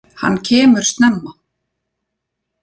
Hann kemur snemma.